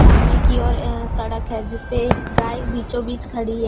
सामने की ओर अ सड़क है जिस पे एक गाय बीचो बीच खड़ी है ।